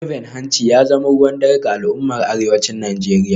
Zoben hanci ya zama ruwan dare ga al’ummar arewacin Najeriya